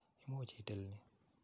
Imuch itil ni.